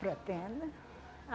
Pretendo!